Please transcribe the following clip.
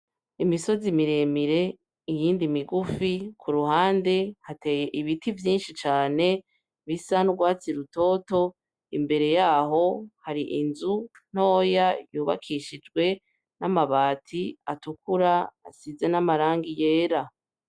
Imisozi miremire iyindi migufi, kuruhande hateye ibiti vyinshi cane bisa n'urwatsi rutoto, imbere yaho har'inzu ntoya yubakishishwe n'amabati atukura asize namaragi yera.